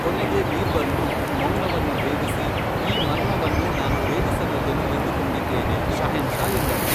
ಕೊನೆಗೇ ಬೀರ್ಬಲ್ನು ಮೌನವನ್ನು ಭೇದಿಸಿ ಈ ಮರ್ಮವನ್ನು ನಾನು ಭೇದಿಸಬಲ್ಲೆನು ಎಂದು ಕೊಂಡಿದ್ದೇನೆ ಷಹೇನ್ಷಾ ಎಂದನು